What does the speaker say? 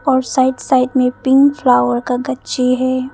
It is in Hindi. और साइड साइड में पिंक फ्लावर का गच्ची है।